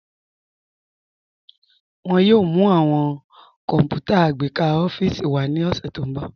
Wọn yòò mú awọn kọ́nputà agbẹkà ọ̀fíìsì wá ni ọṣẹ̀ tí n bọ̀.